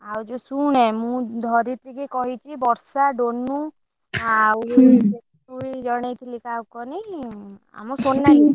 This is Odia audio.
ଆଉ ଯଉ ଶୁଣେ ମୁଁ ଧରତ୍ରି କି କହିଛି ବର୍ଷା, ଡୋନୁ ଆଉ, କିଏ କାହାକୁ କହନି ଆମ ସୋନାଲୀ,